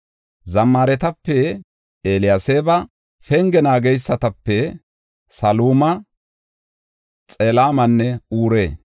Zammaaretape, Eliyaseeba. Penge naageysatape, Saluma, Xelemanne Ure.